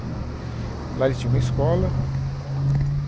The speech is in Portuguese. Lá eles tinham uma escola.